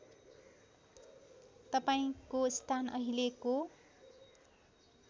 तपाईँको स्थान अहिलेको